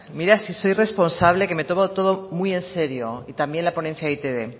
mira si soy responsable que me tomo todo muy en serio y también la ponencia de e i te be